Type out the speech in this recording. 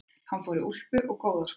Hann fór í úlpu og góða skó.